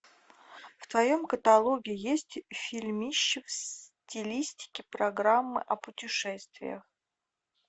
в твоем каталоге есть фильмище в стилистике программы о путешествиях